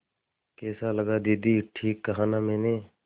कैसा लगा दीदी ठीक कहा न मैंने